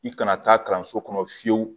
I kana taa kalanso kɔnɔ fiyewu